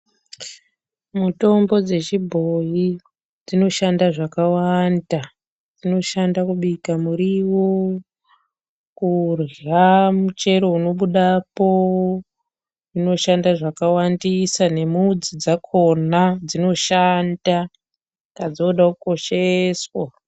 Mutombo dzechibhoyi dzinoshanda zvakawanda. Dzinoshanda kubika muriwo, kurya muchero unobudapo. Dzinoshanda zvakawandisa nemudzi dzakona dzooshanda, saka dzinoda kukosheswa.